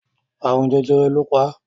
Àrùn jẹjẹrẹ lọ pa